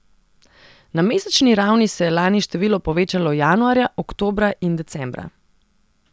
Na mesečni ravni se je lani število povečalo januarja, oktobra in decembra.